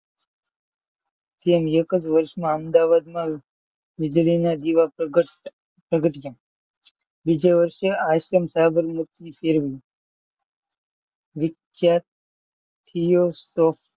પ્રેમ એક જ વર્ષમાં અમદાવાદમાં વીજળીના દીવા પ્રખ્યા પ્રગટ્યા. બીજા વર્ષે આશ્રમ સાબરમતી,